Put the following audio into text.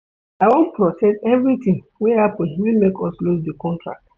I wan process everytin wey happen wey make us loose di contract.